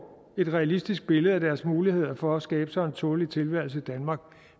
et realistisk billede af deres muligheder for at skabe sig en tålelig tilværelse i danmark